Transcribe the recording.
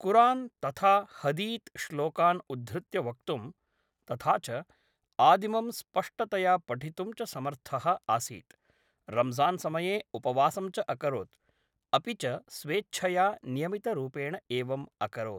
कुरान्‌ तथा हदीत्‌ श्लोकान् उद्धृत्य वक्तुम्, तथा च आदिमं स्पष्टतया पठितुं च समर्थः आसीत्, रम्ज़ान्समये उपवासं च अकरोत्, अपि च स्वेच्छया नियमितरूपेण एवम् अकरोत्।